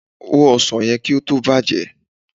Hó ọsàn yẹn kí ó tó bàjẹ́!